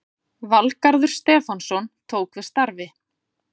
Valgarður Stefánsson tók við starfi